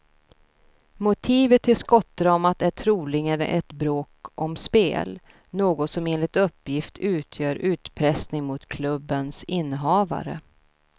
Motivet till skottdramat är troligen ett bråk om spel, något som enligt uppgift utgör utpressning mot klubbens innehavare.